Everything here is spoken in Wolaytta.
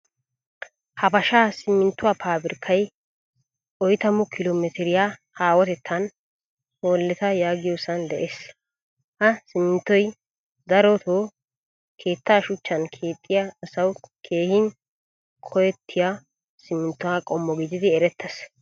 Habasha siminttuwaa pabirkkay oytamu kilo metiriyaa haahotettan holetta yaagiyosan de'ees. Ha siminttoy darot keettaa shuchchan keexiyaa asawu keehin koyettiya siminttuwaa qommo gididi eretees.